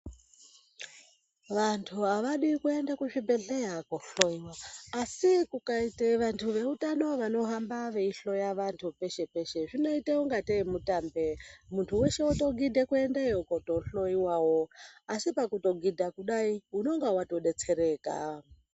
Vantu avadi kuende kuzvibhedhlera koohloiwa asi kukaite vantu veutano vanohamba veihloya vantu peshe -peshe, zvinoite ungatei mutambe muntu weshe wotogidhe kutoendeyo koohloiwawo. Asi pakuzogidha kudai ,unonga watodetsereka.